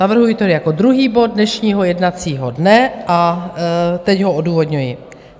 Navrhuji to jako druhý bod dnešního jednacího dne a teď ho odůvodňuji.